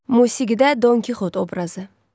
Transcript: Musiqidə Don Kixot obrazı.